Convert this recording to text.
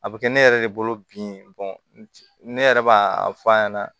A bɛ kɛ ne yɛrɛ de bolo bi ne yɛrɛ b'a fɔ a ɲɛna